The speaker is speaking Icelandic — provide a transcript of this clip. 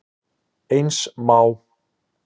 Eins má